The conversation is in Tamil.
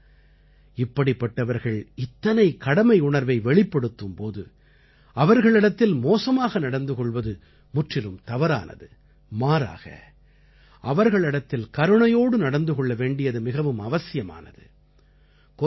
ஆகையால் இப்படிப்பட்டவர்கள் இத்தனை கடமையுணர்வை வெளிப்படுத்தும் போது அவர்களிடத்தில் மோசமாக நடந்து கொள்வது முற்றிலும் தவறானது மாறாக அவர்களிடத்தில் கருணையோடு நடந்து கொள்ள வேண்டியது மிகவும் அவசியமானது